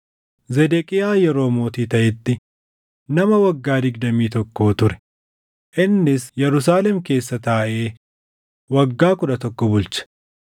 Zedeqiyaa yeroo mootii taʼetti nama waggaa digdamii tokkoo ture; innis Yerusaalem keessa taaʼee waggaa kudha tokko bulche.